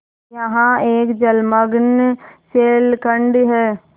यहाँ एक जलमग्न शैलखंड है